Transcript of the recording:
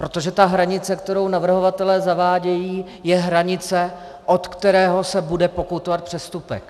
Protože ta hranice, kterou navrhovatelé zavádějí, je hranice, od které se bude pokutovat přestupek.